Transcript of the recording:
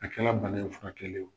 A kɛra bana in furakɛli ye o